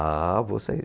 Ah, vou sair.